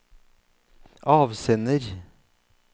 avsender